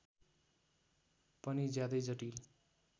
पनि ज्यादै जटिल